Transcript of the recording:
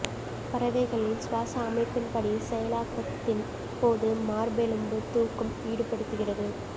பறவைகளில் சுவாச அமைப்பின்படி செயலாக்கத்தின் போது மார்பெலும்பு தூக்கும் ஈடுபடுத்துகிறது